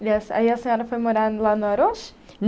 E aí a senhora foi morar lá no Arouche?